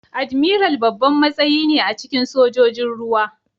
Admiral babban matsayi ne a cikin Sojojin ruwa.